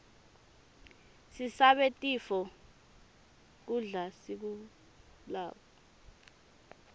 sisabe tifo nqgkudla lesikublako